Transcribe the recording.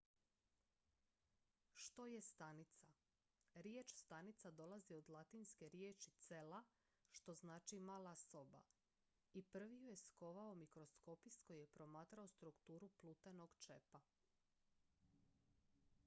"što je stanica? riječ stanica dolazi od latinske riječi "cella" što znači "mala soba" i prvi ju je skovao mikroskopist koji je promatrao strukturu plutenog čepa.